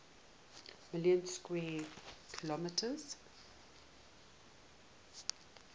million square kilometers